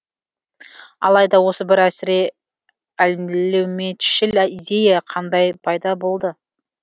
алайда осы бір әсіре әлеуметшіл идея қандай пайда болды